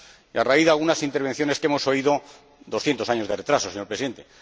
Y a raíz de algunas intervenciones que hemos oído, con 200 años de retraso, señora Presidenta.